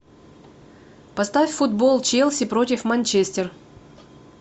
поставь футбол челси против манчестер